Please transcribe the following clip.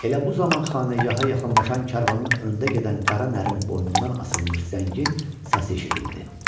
Elə bu zaman xanəgaha yaxınlaşan karvanın öndə gedən qara nərinin boynundan asılmış zəngin səsi eşidildi.